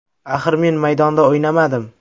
Axir men maydonda o‘ynamadim.